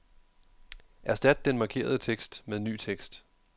Erstat den markerede tekst med ny tekst.